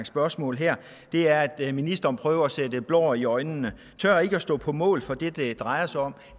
spørgsmål her er at ministeren prøver at stikke blår i øjnene på tør ikke at stå på mål for det det drejer sig om